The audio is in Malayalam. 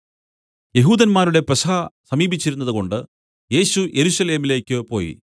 യെഹൂദന്മാരുടെ പെസഹ സമീപിച്ചിരുന്നതുകൊണ്ടു യേശു യെരൂശലേമിലേക്കു പോയി